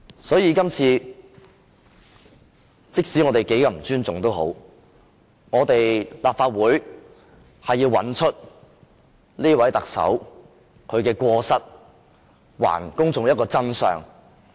所以，我們要依賴立法會的權力，找出這位特首的過失，還公眾一個真相。